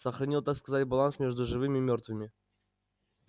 сохранил так сказать баланс между живыми и мёртвыми